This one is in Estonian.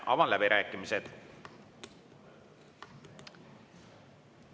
Avan läbirääkimised.